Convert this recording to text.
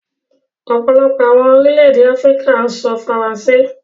Ọ̀pọ̀lọpọ̀ awọn orílẹ̀-èdè Afíríkà n sọ̀ Faransé